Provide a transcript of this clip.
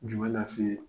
Jumɛn lase